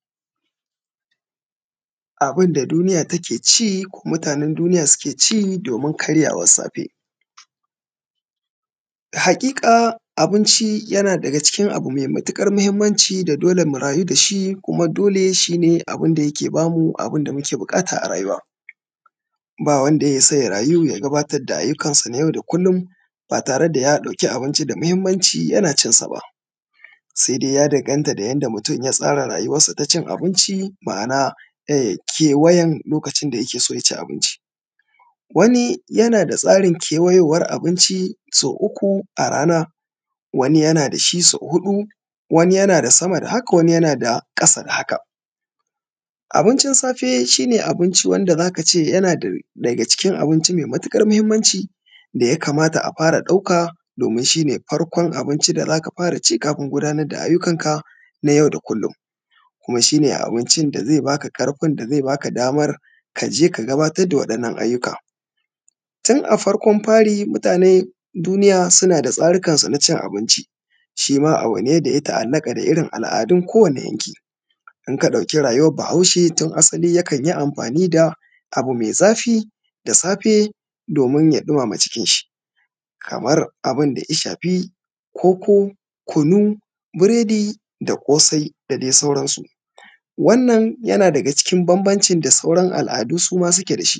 Abun da duniya take ci ko mutanen duniya suke ci domin karyawan safe. Haƙiƙa abunci yana daga cikin abu mai matukar mahimmanci da dole mu rayu dashi kuma dole shi ne wanda yake bamu abunda muke buƙata a rayuwa, ba wanda ya isa ya rayu ya gabatar da ayyukansa na yau da kullum ba tare da ya dauki abinci da mahimmanci yana cin sa ba, sai dai ya danganta da yanda mutum ya tsara rayuwarsa na cin abinci ma’ana kewayan lokacin da yake so ya ci abinci. Wani yana da tsarin kewayowar abinci so uku a rana, wani yana da shi so huɗu wani yana da sama da haka wani yana da ƙasa da haka. Abincin safe shi ne abincin da zaka ce yana daga cikin abinci mai matuƙar mahimmanci daya kamata a fara ɗauka domin shi ne farkon abinci da zaka fara ci kafin gudanar da ayyukanka na yau da kullum, kuma shi ne abinci da zai baka karfin da zai baka damar kaje ka gudanar da wa’innan ayyuka. Tun a farkon fari mutanen duniya suna da tsarikansu na cin abinci shima abu ne daya ta’alaka da irin al’adun kowane yankı. In ka ɗauki rayuwar bahaushe tun asali yakan yi amfani da abu mai zafi da safe domin ya dumama cikin shi kamar abinda ya shafi koko, kunu, burodi, da kosai da dai sauransu. Wannan yana daga cikin bambamci da sauran al’adu suma suke dashi.